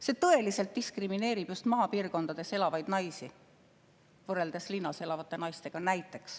See tõeliselt diskrimineerib just maapiirkondades elavaid naisi, võrreldes näiteks linnas elavate naistega.